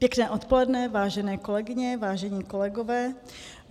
Pěkné odpoledne, vážené kolegyně, vážení kolegové.